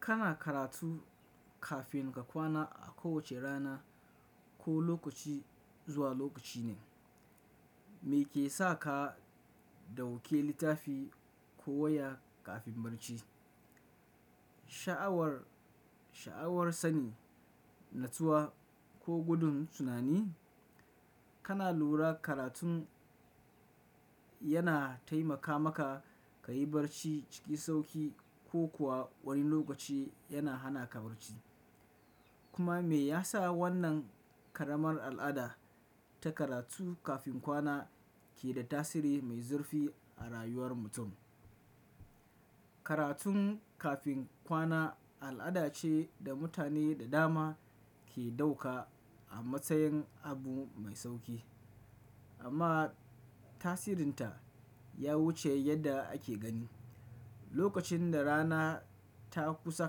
Kana karatu kafin ka kwana a kowace rana ko lokaci zuwa lokaci ne, meke saka ka dauke littafi ko waya kafin barci? Sha'awar, sha'awar sani, natsuwa ko gudun tunani? Kana lura karatun yana taimaka maka ka yi barci ciki sauki ko kuwa wani lokaci yana hana ka barci. Kuma me yasa wannan karamar al'ada ta karatu kafin kwana ke da tasiri mai zurfi a rayuwar mutum? Karatum kafin kwana al'ada ce da mutane da dama ke dauka a matsayin abu mai sauki. Amma tasirinta ya wuce yadda ake gani. Lokacin da rana ta kusa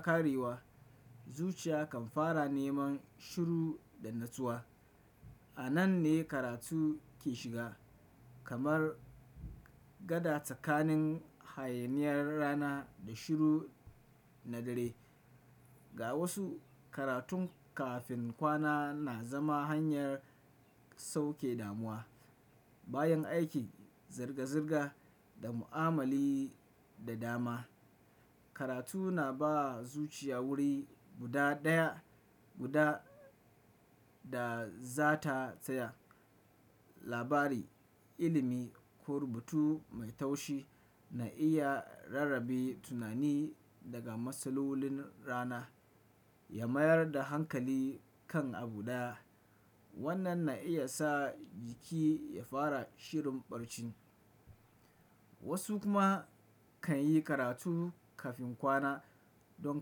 ƙarewa, zuciya kan fara neman shiru da natsuwa. A nan ne karatu ke shiga, kamar gada tsakanin hayaniyar rana da shiru na dare. Ga wasu, karatun kafin kwana na zama hanyar sauke damuwa. Bayan aikin zirga-zirga da mu'amali da dama, karatu na ba zuciya wuri guda daya guda da za ta tsaya. Labari, ilimi ko rubutu mai taushi na iya rarrabe tunani daga matsalolin rana, ya mayar da hankali kan abu daya. Wannan na iya sa jiki ya fara shirin barci. Wasu kuma kan yi karatu kafin kwana don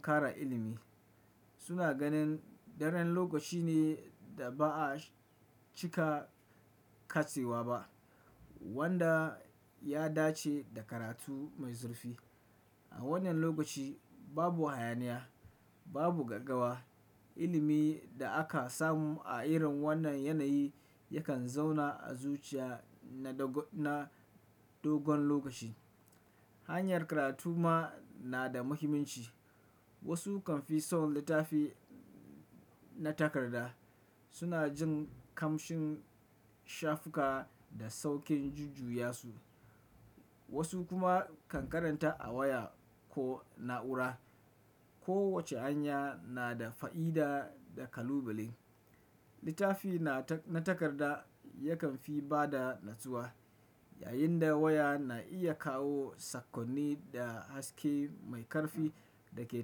ƙara ilimi. Suna ganin daren lokaci ne da ba a cika katsewa ba wanda ya dace da karatu mai zurfi. A wannan lokaci babu hayaniya, babu gaggawa. Ilimi da aka samu a irin wannan yanayi yakan zauna a zuciya na dogon lokaci. Hanyar karatu ma na da muhimmanci. Wasu kan fi son littafi na takarda. Suna jin kamshin shafuka da saukin jujjaya su. Wasu kuma kan karanta a waya ko na'ura. Kowace hanya na da fa'ida da kalubale. Littafi na takarda yakan fi ba da natsuwa, yayinda waya na iya kawo sakkonni da haske mai karfi da ke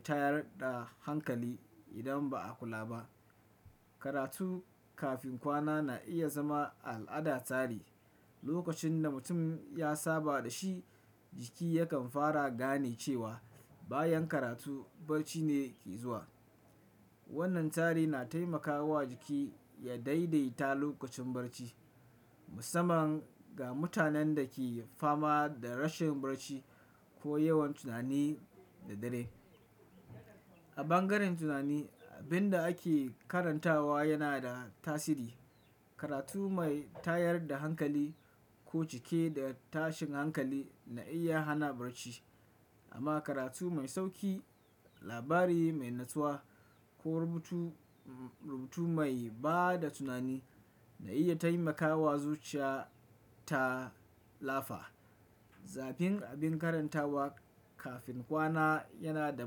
tayar da hankali idan ba a kula ba. Karatu kafin kwana na iya zama al'ada tare. Lokacin da mutum ya saba da shi, jiki yakan fara gane cewa bayan karatu barci ne ke zuwa. Wannan tsari na taimakawa jiki ya daidaita lokacin barci, musamman ga mutanen da ke fama da rashin barci ko yawan tunani da dare. A bangaren tunani, abin da ake karantawa yana da tasiri. Karatu mai tayar da hankali ko cike da tashin hankali na iya hana barci. Amma karatu mai sauki, labari mai natsuwa ko rubutu, rubutu mai ba da tunani na iya taimakawa zuciya ta lafa. Zafin abin karantawa kafin kwana yana da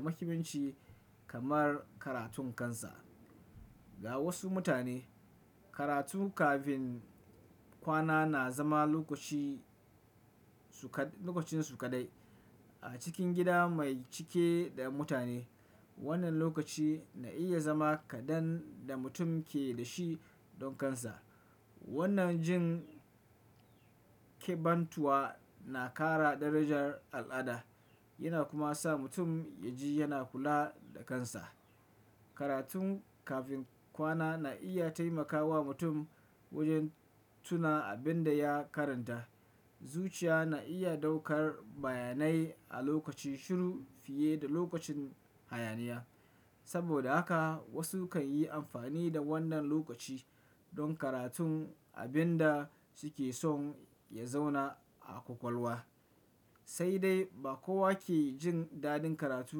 muhimmanci kamar karatun kansa. Ga wasu mutane, karatu kafin kwana na zama lokaci su kadai, lokacin su kadai. A cikin gida mai cike da mutane, wannan lokaci na iya zama kaɗan da mutum ke da shi don kansa. Wannan jin ƙebantuwa na ƙara darajar al'ada, yana kuma sa mutum ya ji yana kula da kansa. Karatu kafin kwana na iya taimakawa mutum wajen tuna abin da ya karanta. Zuciya na iya ɗaukar bayanai a lokacin shiru fiye da lokacin hayaniya. Saboda haka wasu kan yi amfani da wannan lokaci don karatun abin da suke son ya zauna a ƙwaƙwalwa. Sai dai ba kowa ke jin dadin karatu.